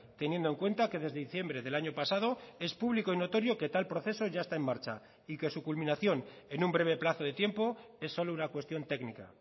teniendo en cuenta que desde diciembre del año pasado es público y notorio que tal proceso ya está en marcha y que su culminación en un breve plazo de tiempo es solo una cuestión técnica